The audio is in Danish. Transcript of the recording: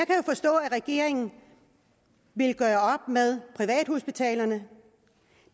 regeringen vil gøre op med privathospitalerne